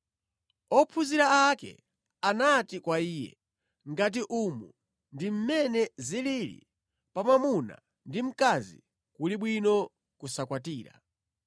Ophunzira ake anati kwa Iye, “Ngati umu ndi mmene zilili pa mwamuna ndi mkazi, kuli bwino kusakwatira.”